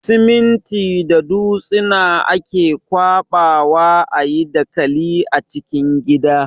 Siminti da dutsina ake ƙwaɓa wa a yi dakali na cikin gida.